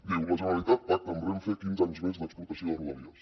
diu la generalitat pacta amb renfe quinze anys més d’explotació de rodalies